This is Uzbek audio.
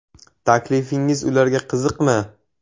Taklifingiz ularga qiziqmi?